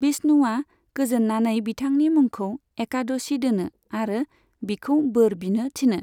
विष्णुआ गोजोननानै बिथांनि मुंखौ 'एकादशी' दोनो आरो बिखौ बोर बिनो थिनो।